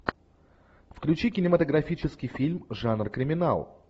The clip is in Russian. включи кинематографический фильм жанр криминал